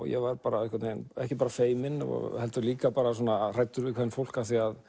ég var ekki bara feiminn heldur líka hræddur við kvenfólk